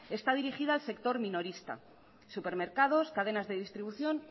está dirigida al sector minorista supermercados cadenas de distribución